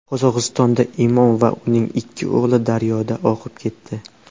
Qozog‘istonda imom va uning ikki o‘g‘li daryoda oqib ketdi.